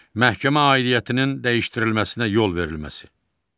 Məhkəmə aidiyyətinin dəyişdirilməsinə yol verilməsi.